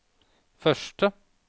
første